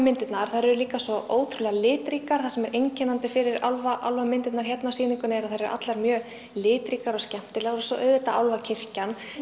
þær eru líka svo ótrúlega litríkar það sem er einkennandi fyrir álfamyndirnar hérna á sýningunni er að þær eru allar mjög litríkar og skemmtilegar og svo auðvitað